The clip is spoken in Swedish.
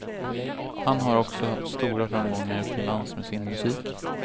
Han har också haft stora framgångar utomlands med sin musik.